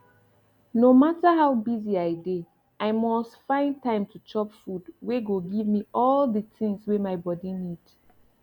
no matter how busy i dey i mus find time to chop food wey go give me all de tins wey my body need